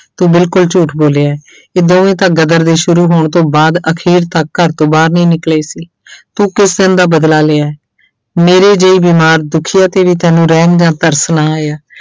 ਤੂੰ ਬਿਲਕੁਲ ਝੂਠ ਬੋਲਿਆ ਹੈ ਇਹ ਦੋਵੇਂ ਤਾਂ ਗਦਰ ਦੇ ਸ਼ੁਰੂ ਹੋਣ ਤੋਂ ਬਾਅਦ ਅਖ਼ੀਰ ਤੱਕ ਘਰ ਤੋਂ ਬਾਹਰ ਨਹੀਂ ਨਿਕਲੇ ਸੀ ਤੂੰ ਕਿਸ ਦਾ ਬਦਲਾ ਲਿਆ ਹੈ, ਮੇਰੇ ਜਿਹੀ ਬਿਮਾਰ ਦੁੱਖੀਆ ਤੇ ਵੀ ਤੈਨੂੰ ਰਹਿਮ ਜਾਂ ਤਰਸ਼ ਨਾ ਆਇਆ।